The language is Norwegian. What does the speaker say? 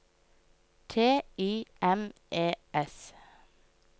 T I M E S